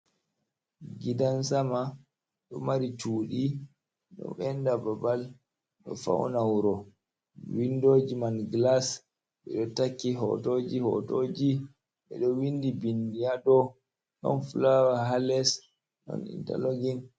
Gidan sama do mari chuɗi ɗo enɗa babal, ɗo fauna wuro, windoji man glas, ɓe ɗo takki hotoji hotoji, ɓeɗo naftira windi bindi ha dou, ɗon fulawa ha les ɗon intelogin.